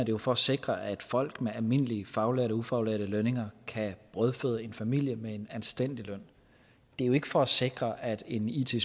jo for at sikre at folk med almindelige faglærte og ufaglærte lønninger kan brødføde en familie med en anstændig løn det er jo ikke for at sikre at en it